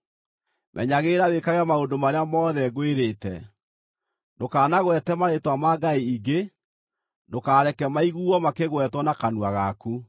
“Menyagĩrĩra wĩkage maũndũ marĩa mothe ngwĩrĩte. Ndũkanagwete marĩĩtwa ma ngai ingĩ; ndũkareke maiguuo makĩgwetwo na kanua gaku.